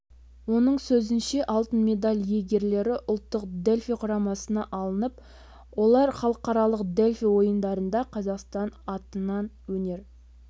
оның сөзінше алтын медаль иегерлері ұлттық дельфий құрамасына алынып олар халықаралық дельфий ойындарында қазақстан атынан өнер